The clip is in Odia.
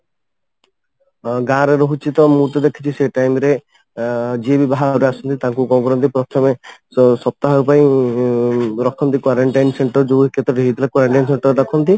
ଗାଁରେ ରହୁଛି ତ ମୁଁ ତ ଦେଖିଛି ସେଇ time ରେ ଅଂ ଯିଏ ବି ବାହାରୁ ଆସନ୍ତି ତାଙ୍କୁ କଣ କରନ୍ତି ପ୍ରଥମେ ସପ୍ତାହକ ପାଇଁ ରଖନ୍ତି quarantine ସେଣ୍ଟର ଯୋଉ କେତେ ଟି ହେଇଥିଲା quarantine ସେଣ୍ଟରରେ ରଖନ୍ତି